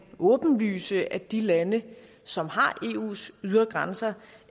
åbenlyse at de lande som har eus ydre grænser